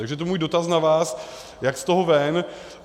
Takže to je můj dotaz na vás, jak z toho ven.